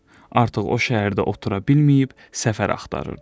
Artıq o şəhərdə otura bilməyib səfər axtarırdı.